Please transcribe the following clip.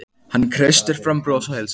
Hann kreistir fram bros og heilsar.